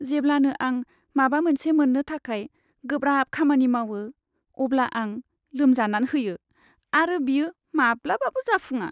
जेब्लानो आं माबा मोनसे मोन्नो थाखाय गोब्राब खामानि मावो, अब्ला आं लोमजान होयो, आरो बेयो माब्लाबाबो जाफुङा।